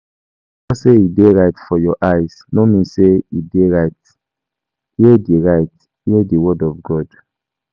Because sey e dey right for your eye no mean sey e dey right. Hear di right. Hear di word of God.